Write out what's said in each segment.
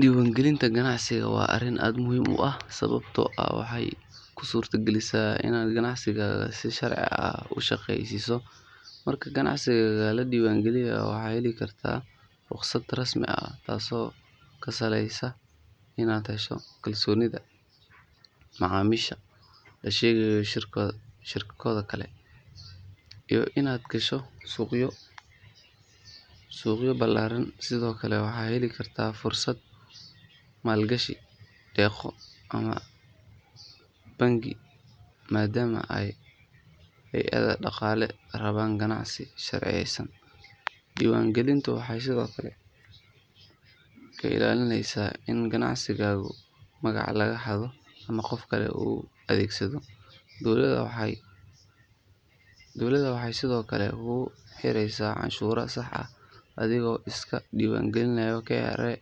Diiwaangelinta ganacsigaaga waa arrin aad u muhiim ah sababtoo ah waxay kuu suurtagelinaysaa inaad ganacsigaaga si sharci ah u shaqeysiiso. Marka ganacsigaaga la diiwaangeliyo waxaad heli kartaa rukhsad rasmi ah taasoo kuu sahlaysa inaad hesho kalsoonida macaamiisha, la shaqeyso shirkado kale, iyo inaad gasho suuqyo ballaaran. Sidoo kale waxaad heli kartaa fursado maalgashi, deeqo ama amaah bangi maadaama ay hay’adaha dhaqaale rabaan ganacsi sharciyeysan. Diiwaangelintu waxay sidoo kale kaa ilaalinaysaa in ganacsigaaga magaca laga xado ama qof kale u adeegsado. Dowladda waxay sidoo kale kugu xireysaa canshuurta saxda ah adigoo iska diiwaan gelinaya KRA.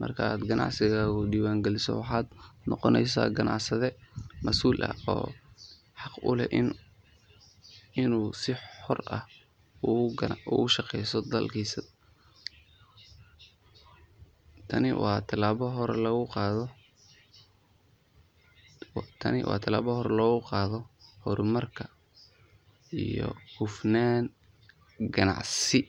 Marka aad ganacsigaaga diiwaangeliso waxaad noqonaysaa ganacsade mas’uul ah oo xaq u leh inuu si xor ah uga shaqeeyo dalka gudihiisa. Tani waa talaabo hore loogu qaado horumar iyo hufnaan ganacsi.